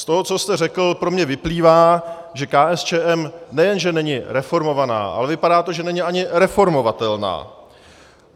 Z toho, co jste řekl, pro mě vyplývá, že KSČM nejen že není reformovaná, ale vypadá to, že není ani reformovatelná.